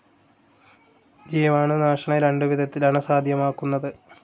ജീവാണുനാശനം രണ്ടു വിധത്തിലാണ് സാധ്യമാക്കുന്നത്.